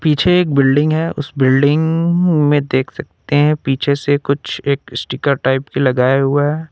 पीछे एक बिल्डिंग है उस बिल्डिंग में देख सकते हैं पीछे से कुछ एक स्टीकर टाइप की लगाया हुआ है।